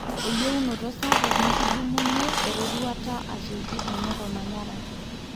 eyieunoto sapuk nikidumunyie eroruata asioki aingorr olmanyara.